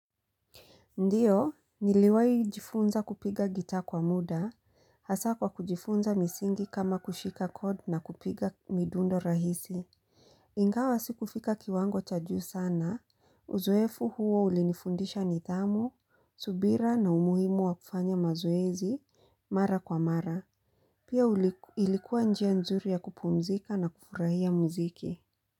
Ndiyo, niliwahi jifunza kupiga gitaa kwa muda, hasa kwa kujifunza misingi kama kushika kod na kupiga midundo rahisi. Ingawa sikufika kiwango cha juu sana, uzoefu huo ulinifundisha nitamu, subira na umuhimu wa kufanya mazoezi, mara kwa mara. Pia ilikuwa njia nzuri ya kupumzika na kufurahia mziki.